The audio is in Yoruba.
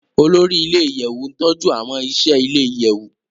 Olori ile-iyẹwu n tọju awọn iṣẹ ile-iyẹwu